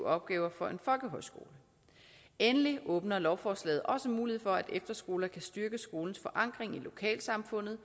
opgaver for en folkehøjskole endelig åbner lovforslaget også mulighed for at efterskoler kan styrke skolens forankring i lokalsamfundet